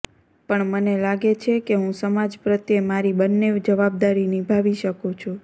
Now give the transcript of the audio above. પણ મને લાગે છે કે હું સમાજ પ્રત્યે મારી બંને જવાબદારી નિભાવી શકું છું